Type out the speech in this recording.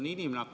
Hea minister!